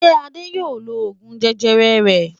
Ṣé Adé yóò lo oògùn jẹjẹrẹ rẹ̀?